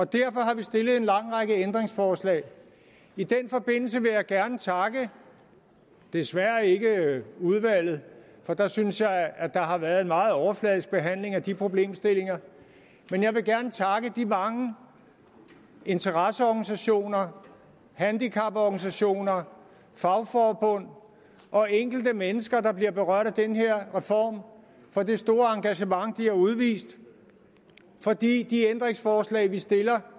derfor har vi stillet en lang række ændringsforslag i den forbindelse vil jeg gerne takke desværre ikke udvalget for der synes jeg at der har været en meget overfladisk behandling af de problemstillinger men de mange interesseorganisationer handicaporganisationer fagforbund og enkelte mennesker der bliver berørt af den her reform for det store engagement de har udvist for de ændringsforslag vi stiller